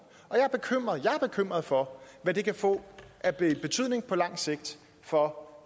og jeg er bekymret for hvad det kan få af betydning på lang sigt for